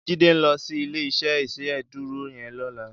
Jide n lò si ilé iṣè Ìṣédùró yèn lòlá